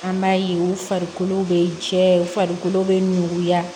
An b'a ye u farikolo bɛ jɛ u farikolo bɛ ɲuguya